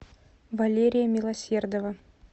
валерия милосердова